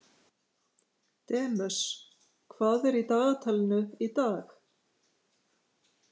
Demus, hvað er í dagatalinu í dag?